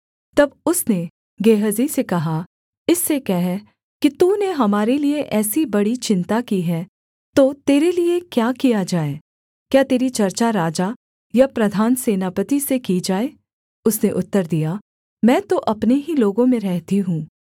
तब उसने गेहजी से कहा इससे कह कि तूने हमारे लिये ऐसी बड़ी चिन्ता की है तो तेरे लिये क्या किया जाए क्या तेरी चर्चा राजा या प्रधान सेनापति से की जाए उसने उत्तर दिया मैं तो अपने ही लोगों में रहती हूँ